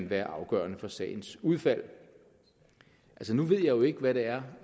være afgørende for sagens udfald nu ved jeg jo ikke hvad det er